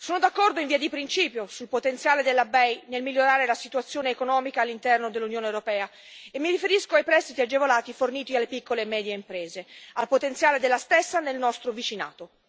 Sono d'accordo in via di principio sul potenziale della BEI nel migliorare la situazione economica all'interno dell'Unione europea, e mi riferisco ai prestiti agevolati forniti alle piccole e medie imprese, al potenziale della stessa nel nostro vicinato.